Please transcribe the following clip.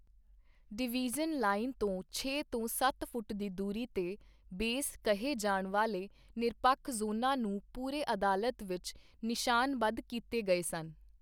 Division line ਤੋਂ ਛੇ ਤੋਂ ਸੱਤ ਫੁੱਟ ਦੀ ਦੂਰੀ 'ਤੇ, 'ਬੇਸ' ਕਹੇ ਜਾਣ ਵਾਲੇ ਨਿਰਪੱਖ ਜ਼ੋਨਾਂ ਨੂੰ ਪੂਰੇ ਅਦਾਲਤ ਵਿੱਚ ਨਿਸ਼ਾਨਬੱਧ ਕੀਤੇ ਗਏ ਸਨ।